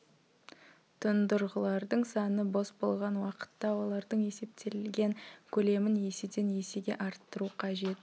тұндырғылардың саны бос болған уақытта олардың есептелген көлемін еседен есеге арттыру қажет